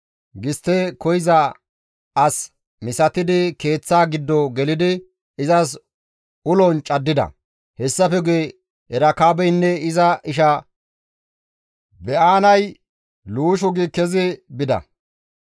Gistte koyza as misatidi keeththa giddo gelidi izas ulon caddida. Hessafe guye Erekaabeynne iza isha Ba7aanay luushu gi kezi bida.